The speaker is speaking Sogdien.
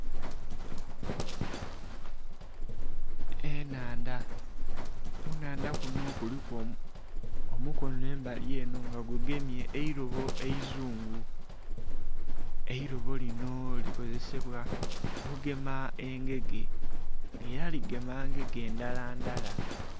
Ennhandha, kunhandha kunho kuliku omukono embali enho nga gugemye eirobo eizugu. Eirobo linho likozesebwa okugema engege nga era ligema engege ndhala ndhala.